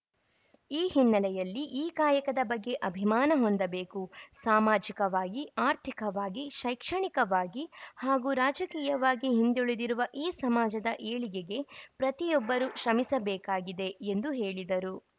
ಈ ಹಿನ್ನೆಲೆಯಲ್ಲಿ ಈ ಕಾಯಕದ ಬಗ್ಗೆ ಅಭಿಮಾನ ಹೊಂದಬೇಕು ಸಾಮಾಜಿಕವಾಗಿ ಆರ್ಥಿಕವಾಗಿ ಶೈಕ್ಷಣಿಕವಾಗಿ ಹಾಗೂ ರಾಜಕೀಯವಾಗಿ ಹಿಂದುಳಿದಿರುವ ಈ ಸಮಾಜದ ಏಳಿಗೆಗೆ ಪ್ರತಿಯೊಬ್ಬರು ಶ್ರಮಿಸಬೇಕಾಗಿದೆ ಎಂದು ಹೇಳಿದರು